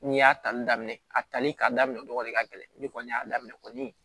N'i y'a tali daminɛ a tali ka daminɛ dɔgɔ ka gɛlɛn ni kɔni y'a daminɛ kɔni